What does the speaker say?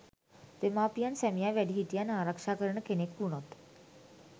දෙමාපියන් සැමියා වැඩිහිටියන් ආරක්ෂා කරන කෙනෙක් වුනොත්